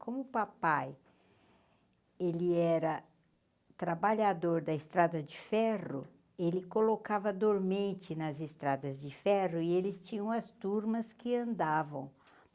Como papai, ele era trabalhador da Estrada de Ferro, ele colocava dormente nas Estradas de Ferro e eles tinham as turmas que andavam.